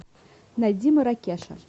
найди маракеша